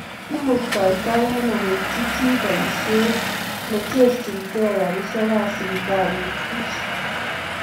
Imuktatai ano koityi chi bayiisyeet ne cherchinkeey karisyekab sipitaliit buch?